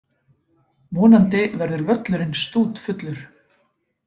Vonandi verður völlurinn stútfullur.